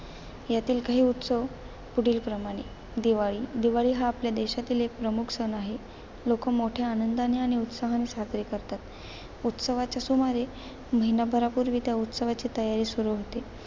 यातील काही उत्सव पुढीलप्रमाणे आहेत. दिवाळी, दिवाळी हा आपल्या देशातील एक प्रमुख सण आहे. लोक मोठ्या आनंदाने आणि उत्साहाने साजरे करतात. उत्सवाच्या सुमारे महिनाभरापूर्वी त्या उत्सवाची तयारी सुरू होते.